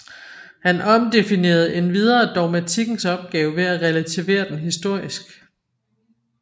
Han omdefinerede endvidere dogmatikkens opgave ved at relativere den historisk